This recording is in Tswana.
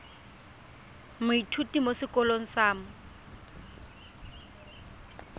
moithuti mo sekolong sa mo